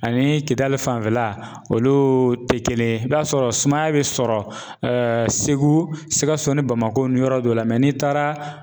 Ani kidali fanfɛla olu tɛ kelen ye i b'a sɔrɔ sumaya bi sɔrɔ Segu, Sikaso ni Bamakɔ ni yɔrɔ dɔ la n'i taara